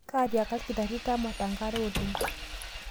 Kashiaka lkitari tamata nkare oleng